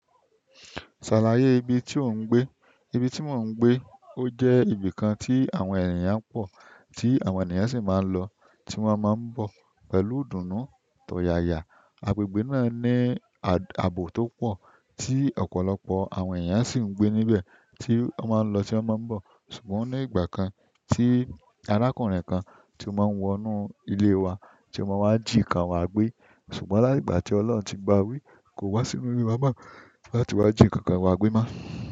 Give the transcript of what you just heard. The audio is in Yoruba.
Ṣàlàyé ibi tí ò ń gbé. Ibi tí mò ń gbé ó jẹ́ ibi kan tí àwọn ènìyàn pọ̀, tí àwọn ènìyàn sì máa ń lọ, tí wọ́n máa ń bọ̀ pẹ̀lú ìdùnnú tọ̀ yaya. Agbègbè náà ní ààbò tó pọ̀ tí ọ̀pọ̀lọpọ̀ àwọn ènìyàn sì ń gbé níbẹ̀, tí wọ́n máa ń lọ tí wọ́n máa ń bọ̀. Ṣùgbọ́n ní ìgbà kan, tí arákùnrin kan tí ó máa ń wọnú ilé wa, tí ó máa ń jí nǹkan wa gbé. Ṣùgbọ́n láti ìgbà tí Ọlọ́run tí bawí kòwá sí inú ilé wa mọ láti wá jí nǹkan wa gbé mọ́.